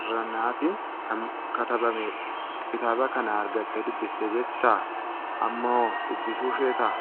Irranaatiin kan katabamedha. Kitaaba kana argattee dubbistee beektaa? Ammahoo dubbisuu ni feetaa?